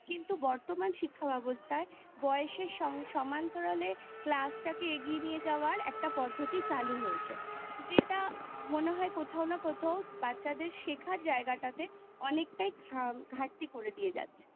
কিন্তু বর্তমান শিক্ষাব্যবস্থায় বয়সের সমান্তরালে Class তাকে এগিয়ে নিয়ে যাবার একটা পদ্ধতি চালু হয়েছে যে মনে হয় কোথাও না কোথাও বাচ্ছাদের শেখার জায়গাটাতে অনেকটাই ঘাটতি করে দিয়ে যাচ্ছে